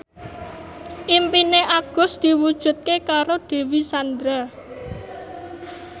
impine Agus diwujudke karo Dewi Sandra